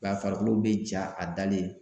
A farikolo bɛ ja a dalen